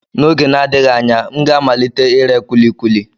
N'oge na-adịghị anya, m ga-amalite ire kulikuli.